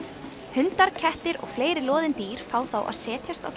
hundar kettir og fleiri loðin dýr fá þá að setjast á